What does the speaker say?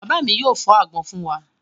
Bàbá mi yóò fọ́ àgbọn fún wa.